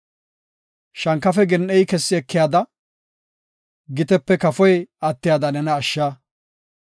Shankafe gen7ey kessi ekiyada, gitepe kafoy attiyada nena ashsha.